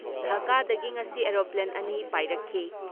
ꯙꯀꯥꯗꯒꯤ ꯉꯁꯤ ꯑꯦꯔꯣꯄ꯭ꯂꯦꯟ ꯑꯅꯤ ꯄꯥꯏꯔꯛꯈꯤ ꯫